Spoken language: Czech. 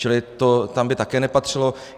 Čili tam by to také nepatřilo.